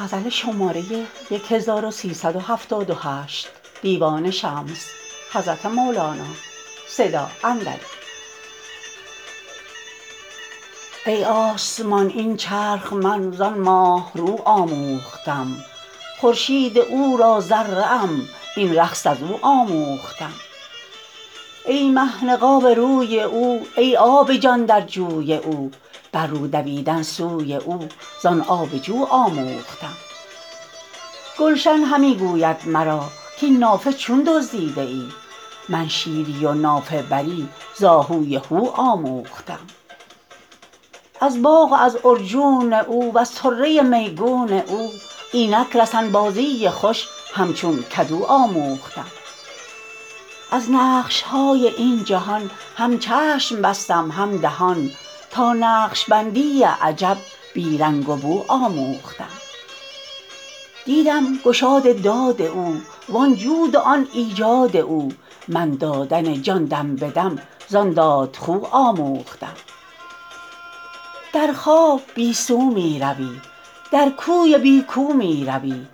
ای آسمان این چرخ من زان ماه رو آموختم خورشید او را ذره ام این رقص از او آموختم ای مه نقاب روی او ای آب جان در جوی او بر رو دویدن سوی او زان آب جو آموختم گلشن همی گوید مرا کاین نافه چون دزدیده ای من شیری و نافه بری ز آهوی هو آموختم از باغ و از عرجون او وز طره میگون او اینک رسن بازی خوش همچون کدو آموختم از نقش های این جهان هم چشم بستم هم دهان تا نقش بندی عجب بی رنگ و بو آموختم دیدم گشاد داد او وان جود و آن ایجاد او من دادن جان دم به دم زان دادخو آموختم در خواب بی سو می روی در کوی بی کو می روی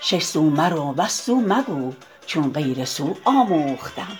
شش سو مرو وز سو مگو چون غیر سو آموختم